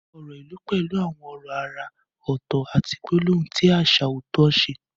Ọ̀rọ̀ ìlú pẹ̀lú àwọn ọ̀rọ̀ àrà ọ̀tọ̀ àti gbólóhùn tí àṣà ọ̀tọ̀ọ̀tọ̀ ṣe.